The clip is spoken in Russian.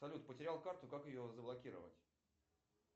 салют потерял карту как ее заблокировать